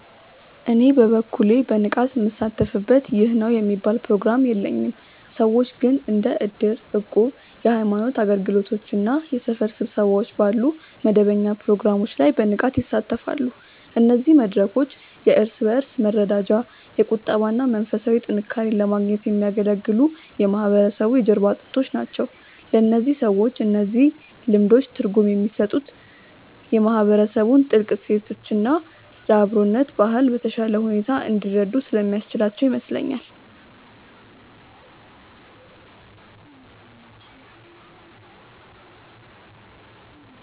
እኔ በበኩሌ በንቃት ምሳተፍበት ይህ ነው የሚባል ፕሮግራም የለኝም። ሰዎች ግን እንደ እድር፣ እቁብ፣ የሃይማኖት አገልግሎቶች እና የሰፈር ስብሰባዎች ባሉ መደበኛ ፕሮግራሞች ላይ በንቃት ይሳተፋሉ። እነዚህ መድረኮች የእርስ በእርስ መረዳጃ፣ የቁጠባ እና መንፈሳዊ ጥንካሬን ለማግኘት የሚያገለግሉ የማህበረሰቡ የጀርባ አጥንቶች ናቸው። ለእነዚህ ሰዎች እነዚህ ልምዶች ትርጉም የሚሰጡት የማህበረሰቡን ጥልቅ እሴቶች እና የአብሮነት ባህል በተሻለ ሁኔታ እንዲረዱ ስለሚያስችላቸው ይመስለኛል።